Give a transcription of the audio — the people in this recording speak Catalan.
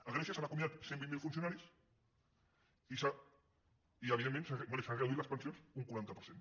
a grècia s’han acomiadat cent i vint miler funcio·naris i bé s’han reduït les pensions un quaranta per cent